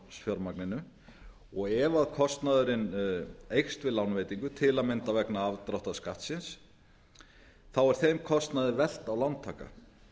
af lánsfjármagninu og ef kostnaðurinn eykst við lánveitingu til að mynda vegna afdráttarskattsins er þeim kostnaði velt á lántakann